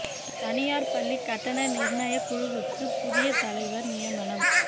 தனியார் பள்ளி கட்டண நிர்ணய குழுவுக்கு புதிய தலைவர் நியமனம்